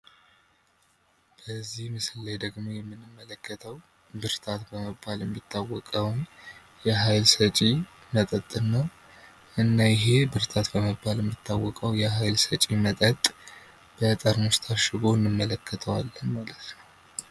እዚህ ምስል ላይ ደግሞ የምንመለከተው ብርታት የሚባለውን የሀይል ሰጪ መጠጥን ነው ፤ እና ይሄ ብርታት በመባል የሚታወቀው የኃይል ሰጪ መጠጥ በጠርሙስ ታሽጎ እንመለከተዋለን ማለት ነው።